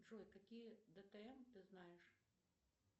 джой какие бтм ты знаешь